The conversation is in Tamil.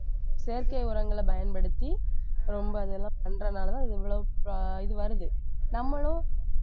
செயற்கை உரங்களைப் பயன்படுத்தி ரொம்ப அதெல்லாம் பண்றதுனாலதான் இது இவ்வளவு இது வருது நம்மளும்